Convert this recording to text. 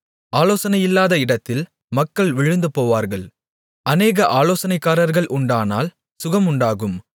ஆலோசனையில்லாத இடத்தில் மக்கள் விழுந்துபோவார்கள் அநேக ஆலோசனைக்காரர்கள் உண்டானால் சுகம் உண்டாகும்